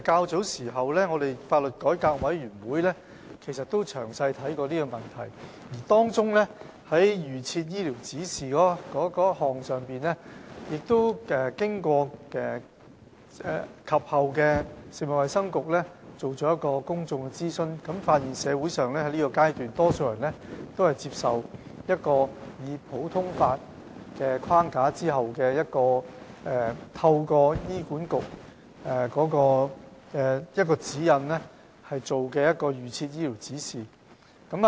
主席，香港法律改革委員會較早時亦曾詳細審視這個問題，而在預設醫療指示這項問題上，食物及衞生局及後也曾進行公眾諮詢，並發現在現階段，社會上多數人均接受在普通法框架下，透過醫管局的指引而制訂預設醫療指示的做法。